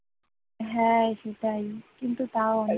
হ্যাঁ সেটাই কিন্তু তাও